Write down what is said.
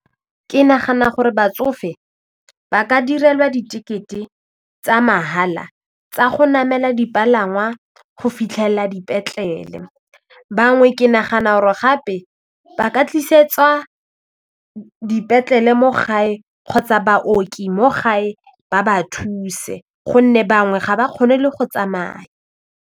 Ke nagana gore batsofe ba ka direlwa ditekete tsa mahala tsa go namela dipalangwa go fitlhelela dipetlele bangwe ke nagana or gape ba ka tlisetswa dipetlele mo gae kgotsa baoki mo gae ba ba thuse gonne bangwe ga ba kgone le go tsamaya.